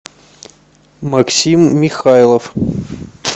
максим михайлов